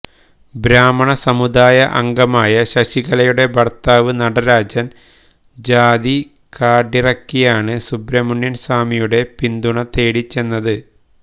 ബ്രാഹ്മണ സമുദായ അംഗമായ ശശികലയുടെ ഭർത്താവ് നടരാജൻ ജാതി കാർഡിറക്കിയാണ് സുബ്രമണ്യൻ സ്വാമിയുടെ പിന്തുണ തേടി ചെന്നത്